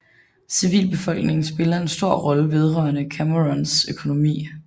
Civilbefolkningen spiller en stor rolle vedrørende Camerouns økonomi